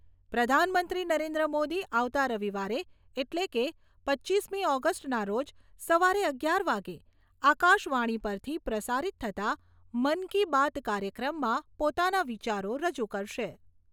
પ્રધાનમંત્રી નરેન્દ્ર મોદી આવતા રવિવારે એટલે કે, પચીસમી ઓગસ્ટના રોજ સવારે અગિયાર વાગે આકાશવાણી પરથી પ્રસારિત થતા મન કી બાત કાર્યક્રમમાં પોતાના વિચારો રજૂ કરશે.